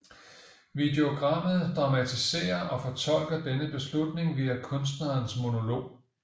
Videogrammet dramatiserer og fortolker denne beslutning via kunstnerens monolog